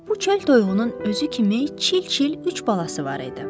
Bu çöl toyuğunun özü kimi çil-çil üç balası var idi.